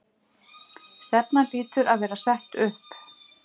Stefnan hlýtur að vera sett upp?